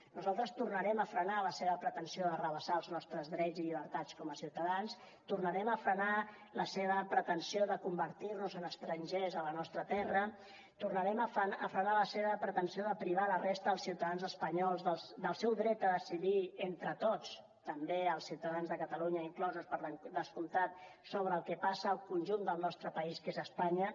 nosaltres tornarem a frenar la seva pretensió d’arrabassar els nostres drets i llibertats com a ciutadans tornarem a frenar la seva pretensió de convertir nos en estrangers a la nostra terra tornarem a frenar la seva pretensió de privar la resta dels ciutadans espanyols del seu dret a decidir entre tots també els ciutadans de catalunya inclosos per descomptat sobre el que passa al conjunt del nostre país que és espanya